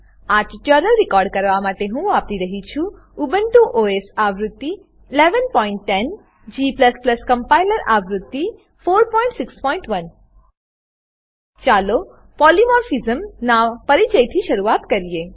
આ tutorial record કરવા માટે હું વાપરી રહ્યો છું ઉબુન્ટુ ઓએસ આવૃત્તિ 1110 g કમ્પાઈલર આવૃત્તિ 461 ચાલો પોલિમોર્ફિઝમ પોલીમોર્ફીઝમ નાં પરિચયથી શરૂઆત કરીએ